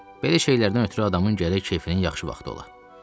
Belə şeylərdən ötrü adamın gərək keyfinin yaxşı vaxtı ola.